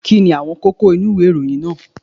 Kí ni àwọn kókó inú ìròyìn náà